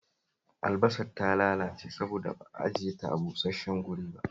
Albasar ta lalace saboda ba ajiye ta a busash-shen ba